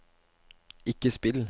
ikke spill